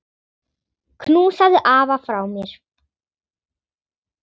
Knúsaðu afa frá mér.